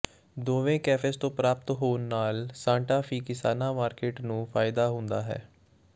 ਦੋਵੇਂ ਕੈਫੇਜ਼ ਤੋਂ ਪ੍ਰਾਪਤ ਹੋਣ ਨਾਲ ਸਾਂਟਾ ਫੀ ਕਿਸਾਨਾਂ ਮਾਰਕੀਟ ਨੂੰ ਫਾਇਦਾ ਹੁੰਦਾ ਹੈ